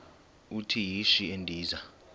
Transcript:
uthi yishi endiza